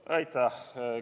Aitäh!